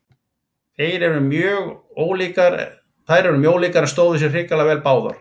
Þær eru mjög ólíkar en stóðu sig hrikalega vel báðar.